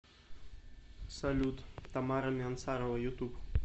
салют тамара миансарова ютуб